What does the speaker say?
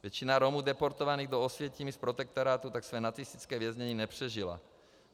Většina Romů deportovaných do Osvětimi z protektorátu tak své nacistické věznění nepřežila.